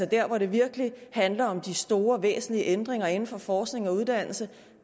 der hvor det virkelig handler om de store væsentlige ændringer inden for forskning og uddannelse